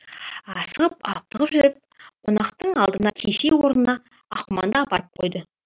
асығып аптығып жүріп қонақтың алдына кесе орнына аққұманды апарып қойды